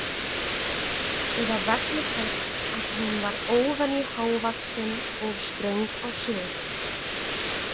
Eða vegna þess að hún var óvenju hávaxin og ströng á svip.